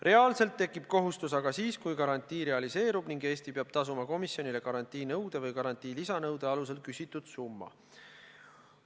Reaalselt tekib kohustus aga siis, kui garantii realiseerub ning Eesti peab tasuma komisjonile garantiinõude või garantii lisanõude alusel küsitud summa.